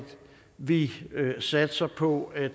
vi satser på at